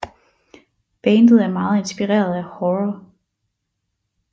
Bandet er meget inspireret af horror